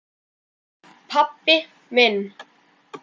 pabbi minn